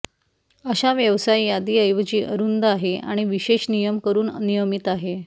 अशा व्यवसाय यादी ऐवजी अरुंद आहे आणि विशेष नियम करून नियमित आहे